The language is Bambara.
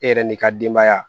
E yɛrɛ ni ka denbaya